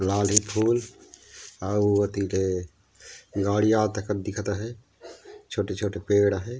लाली फूल अऊ एती ले गाड़ी आथे दिखत हे छोटा-छोटा पेड़ हे।